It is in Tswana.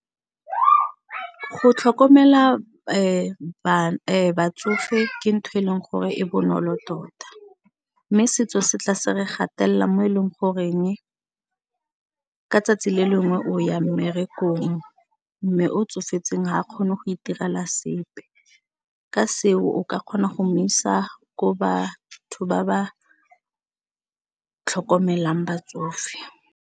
Go tlhokomela batsofe ke ntho e leng gore e bonolo tota mme setso se tla se re gatelela mo e leng goreng ka tsatsi le lengwe o ya mmerekong mme o tsofetseng ha kgone go itirela sepe, ka seo o ka kgona go mo isa ko batho ba ba tlhokomelang batsofe.